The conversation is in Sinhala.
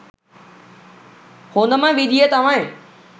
හොඳම විධිය තමයි